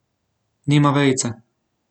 Nima vejice.